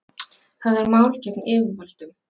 Höfðar mál gegn yfirvöldum